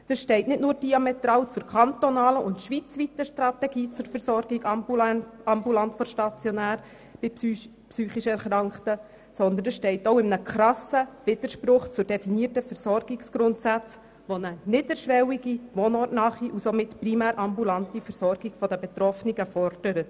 Sie steht nicht nur diametral zur kantonalen und schweizweiten Strategie zur Versorgung «ambulant vor stationär» bei psychisch Erkrankten, sondern sie steht auch in krassem Widerspruch zu den definierten Versorgungsgrundsätzen, die eine niederschwellige, wohnortnahe und somit primärambulante Versorgung der Betroffenen fordert.